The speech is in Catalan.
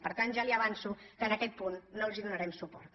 per tant ja li avanço que en aquest punt no els donarem suport